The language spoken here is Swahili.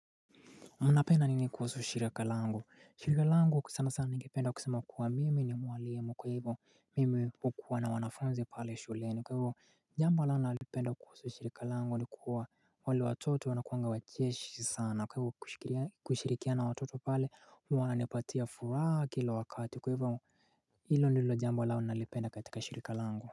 Na napenda nini kuhusu shirika langu? Shirika langu kwa sana sana ningependa kusema kuwa mimi ni mwalimu kwa hivyo mimi hukuwa na wanafunzi pale shuleni kwa hivyo jambo nalolipenda kuhusu shirika langu ni kuwa wale watoto wanakuanga wacheshi sana kwa hivyo kushirikiana watoto pale huwa wananipatia furaha kila wakati kwa hivyo hilo ndilo jambo nalo nalipenda katika shirika langu.